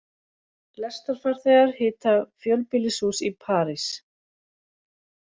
Lestarfarþegar hita fjölbýlishús í París